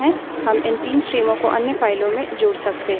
लेकिन लिनक्स में हम इस स्वतः व्यवहार को बदल सकते हैं